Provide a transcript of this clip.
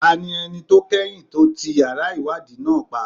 Ta ni ẹni tó kẹ́yìn tó ti yàrá ìwádìí náà pa?